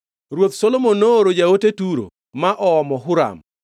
Ruoth Solomon nooro jaote Turo ma oomo Huram,